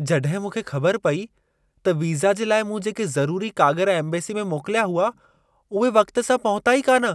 जॾहिं मूंखे ख़बर पई त वीज़ा जे लाइ मूं जेके ज़रूरी कागर एम्बेसी में मोकिलिया हुआ, उहे वक़्ति सां पहुता ई कान,